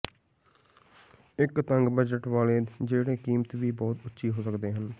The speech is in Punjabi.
ਇੱਕ ਤੰਗ ਬਜਟ ਵਾਲੇ ਜਿਹੜੇ ਕੀਮਤ ਵੀ ਬਹੁਤ ਉੱਚੀ ਹੋ ਸਕਦੇ ਹਨ